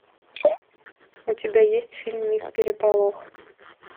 у тебя есть фильм мисс переполох